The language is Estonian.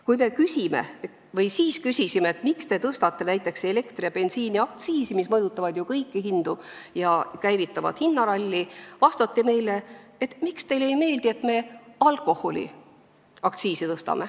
Kui me küsime – või siis küsisime –, miks te tõstate näiteks elektri- ja bensiiniaktsiisi, mis mõjutavad ju kõiki hindu ja käivitavad hinnaralli, siis küsiti, miks meile ei meeldi, et tõstetakse alkoholiaktsiisi.